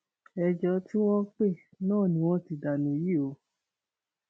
ẹjọ tí wọn pè náání wọn ti danú yìí o